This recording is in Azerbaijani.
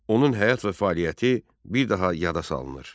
Onun həyat və fəaliyyəti bir daha yada salınır.